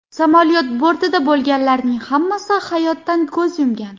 Samolyot bortida bo‘lganlarning hammasi hayotdan ko‘z yumgan .